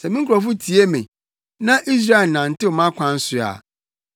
“Sɛ me nkurɔfo tie me, na Israel nantew mʼakwan so a,